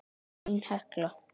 Þín Hekla.